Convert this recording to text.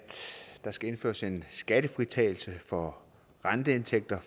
der skal indføres en skattefritagelse for renteindtægter